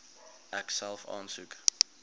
ek self aansoek